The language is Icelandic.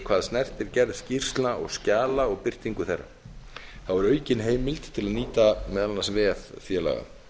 hvað snertir gerð skýrslna og skjala og birtingu þeirra er aukin heimild til að nýta meðal annars vef félaga